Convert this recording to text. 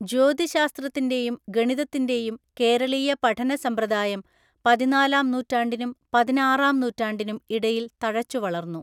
ജ്യോതിശ്ശാസ്‌ത്രത്തിന്‍റെയും ഗണിതത്തിന്‍റെയും കേരളീയ പഠനസമ്പ്രദായം പതിനാലാം നൂറ്റാണ്ടിനും പതിനാറാം നൂറ്റാണ്ടിനും ഇടയിൽ തഴച്ചുവളർന്നു.